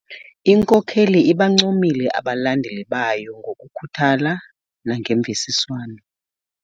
Inkokeli ibancomile abalandeli bayo ngokukhuthala nangemvisiswano.